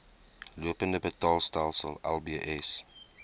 lopende betaalstelsel lbs